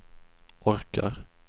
orkar